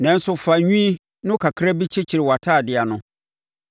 Nanso fa nwi no kakra bi kyekyere wʼatadeɛ ano.